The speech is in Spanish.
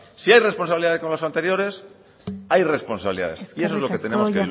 si ha responsabilidades con los anteriores hay responsabilidades y eso es lo que tenemos